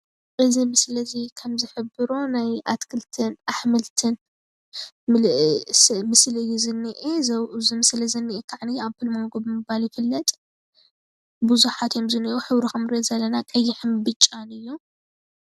እዚ ምስሊ እዚ ከም ዝሕብሮ ናይ ኣትክልትን ኣሕምልትን ምስሊ እዩ ዝኒሀ፣ እዚ ምስሊ ኣብኡ ዝኒሀ ከዓ ኣፕል ማንጎ ብምባል ይፍለጥ ብዙሓት እዮም ዝኒሀው ሕብሩ ከም እንሪኦ ዘለና ሕብሩ ቀይሕን ብጫን እዩም፡፡